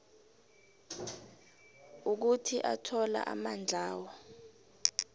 ukuthi athola amandlawo